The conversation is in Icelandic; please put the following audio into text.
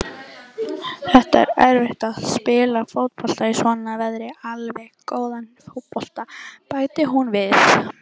Það er erfitt að spila fótbolta í svona veðri, allavega góðan fótbolta, bætti hún við.